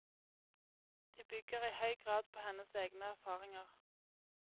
De bygger i høy grad på hennes egne erfaringer.